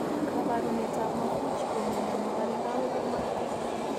Kabarunetab maffucci ko miondo nebare kawek ak magatet